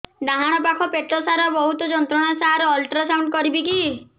ଡାହାଣ ପାଖ ପେଟ ସାର ବହୁତ ଯନ୍ତ୍ରଣା ସାର ଅଲଟ୍ରାସାଉଣ୍ଡ କରିବି କି